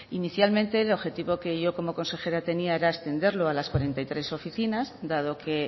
inicialmente el objetivo que yo como consejera tenía era a las treinta y tres oficinas dado que